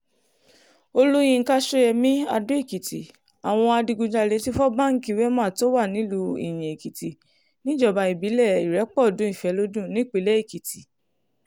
olùyinka ṣọ́yẹ́mi adó-èkìtì àwọn adigunjalè ti fọ́ báńkì wemá tó wà nílùú iyin-èkìtì níjọba ìbílẹ̀ ìrépọ̀dùnìfẹ́lọ́dún nípínlẹ̀ èkìtì